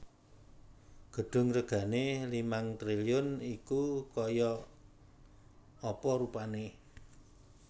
Gedung regane limang triliun iku koyok apa rupane